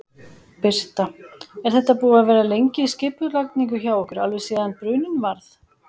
Birta: Er þetta búið að vera lengi í skipulagningu hjá ykkur, alveg síðan bruninn varð?